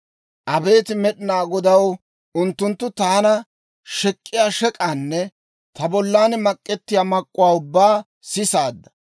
Abeet Med'inaa Godaw, unttunttu taana shek'k'iyaa shek'aanne ta bollan mak'ettiyaa mak'k'uwaa ubbaa sisaadda.